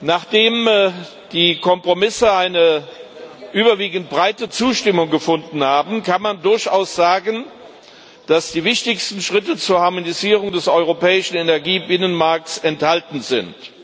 Nachdem die Kompromisse eine überwiegend breite Zustimmung gefunden haben, kann man durchaus sagen, dass die wichtigsten Schritte zur Harmonisierung des europäischen Energiebinnenmarkts enthalten sind.